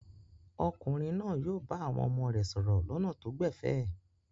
Ọkùnrin náà yóò bá àwọn ọmọ rẹ̀ sọ̀rọ̀ lọ́nà tó gbẹ̀fẹ̀?